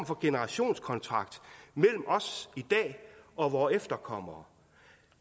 for generationskontrakt mellem os i dag og vore efterkommere